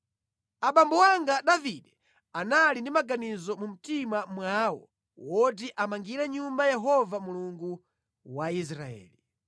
“Abambo anga Davide anali ndi maganizo mu mtima mwawo oti amangire Nyumba Yehova Mulungu wa Israeli.